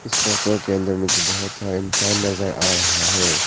इस फोटो के अंदर मुझे बहोत सारे इंसान नजर आ रहा है।